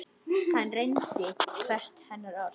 Hann reyndi hvert hennar orð.